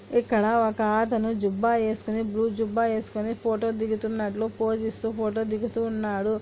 ఇక్కడ ఒక ఆతను జుబ్బా ఏసుకొని బ్లూ జుబ్బా ఏసుకొని ఫోటో దిగుతున్నట్లు పోజ్ ఇస్తూ ఫోటో దిగుతూ ఉన్నాడు.